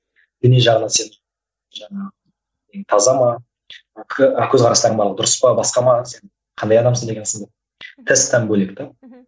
діни жағынан сен жаңағы таза ма көзқарастарың барлығы дұрыс па басқа ма сен қандай адамсың деген сынды тесттен бөлек те мхм